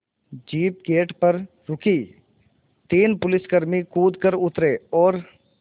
jeep gate पर रुकी तीन पुलिसकर्मी कूद कर उतरे और